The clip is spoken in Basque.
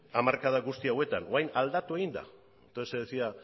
hamarkada honetan orain aldatu egin da entonces se decía